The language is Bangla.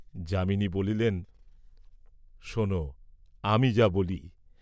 যামিনী বলিলেন, শােন আমি যা বলি?